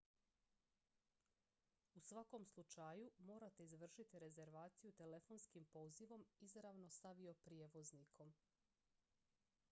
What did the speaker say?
u svakom slučaju morate izvršiti rezervaciju telefonskim pozivom izravno s avioprijevoznikom